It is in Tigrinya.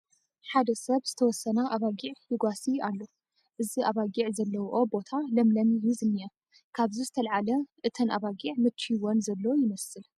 ሓደ ሰብ ዝተወሰና ኣባጊዕ ይጓስይ ኣሎ፡፡ እዚ ኣባጊዕ ዘለውኦ ቦታ ለምለም እዩ ዝኒአ፡፡ ካብዚ ዝተላዕለ እተን ኣባጊዕ መችዩወን ዘሎ ይመስል፡፡